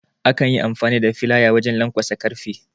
Akan Yi amfani da Filaya wajen lanƙwasa karfe